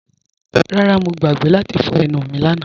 Rárá, Mọ̀ gbàgbé láti fọ̀ ènù mí lànà